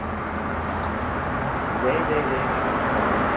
உம் ஜெய ஜெய ஜெய ஹேன்னு ஒரு படம் வந்துச்சு